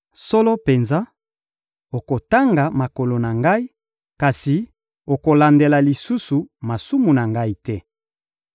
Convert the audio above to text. Solo penza, okotanga makolo na ngai, kasi okolandela lisusu masumu na ngai te.